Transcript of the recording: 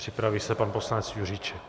Připraví se pan poslanec Juříček.